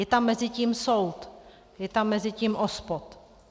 Je tam mezi tím soud, je tam mezi tím OSPOD.